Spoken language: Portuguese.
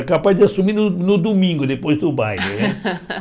Era capaz de assumir no no domingo, depois do baile né.